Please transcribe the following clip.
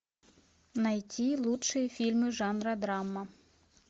найти лучшие фильмы жанра драма